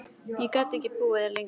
Ég gat ekki búið þar lengur.